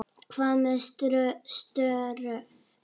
Hvað með störf?